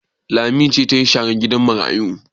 Lami ce ta yi sharan gidan marayu?